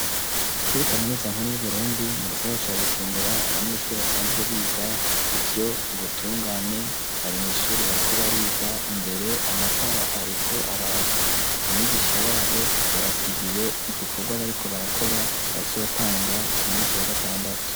Kuri kaminuza nkuru yu Burundi mu gisagara Bujumbura, abanyeshuri basanzwe biga ivyo ubutungane bari mu ishuri bariko bariga, imbere amatara ariko arakisha wabo yabasigiye igikorwa bariko barakora bazotanga ku munsi wa gatandatu.